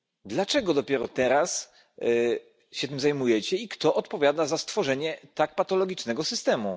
Dlaczego dopiero teraz tym się zajmujecie i kto odpowiada za stworzenie tak patologicznego systemu?